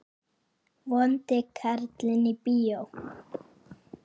Vondi karlinn í bíó?